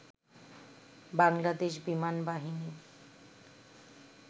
বাংলাদেশ বিমানবাহিনী